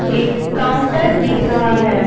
एक काउंटर दिख रहा है।